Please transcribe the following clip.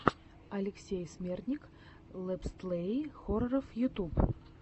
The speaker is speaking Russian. алексей смертник летсплеи хорроров ютуб